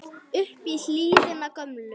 upp í hlíðina gömlu